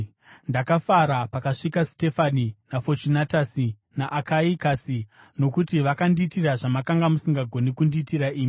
Ndakafara pakasvika Stefanasi, naFochunatusi naAkayikasi, nokuti vakandiitira zvamakanga musingagoni kundiitira imi.